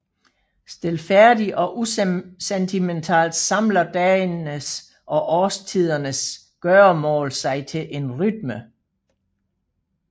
Stilfærdigt og usentimentalt samler dagenes og årstidernes gøremål sig til en rytme